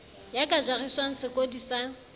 ya ka jariswang sekodi sa